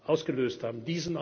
wenigen Jahren ausgelöst